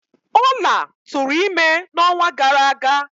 Ola tụrụ ime n'ọnwa gara aga.